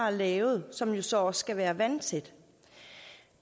er lavet som så også skal være vandtæt